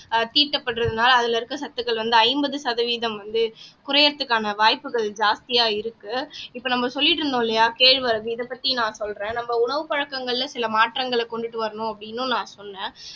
தீட்டப்படுறதுனால அதுல இருக்க சத்துக்கள் வந்து ஐம்பது சதவீதம் வந்து குறையறதுக்கான வாய்ப்புகள் ஜாஸ்தியா இருக்கு இப்ப நம்ம சொல்லிட்டு இருந்தோம் இல்லையா கேழ்வரகு இதைப் பத்தி நான் சொல்றேன் நம்ம உணவு பழக்கங்கள்ல சில மாற்றங்களை கொண்டுட்டு வரணும் அப்படின்னும் நான் சொன்னேன்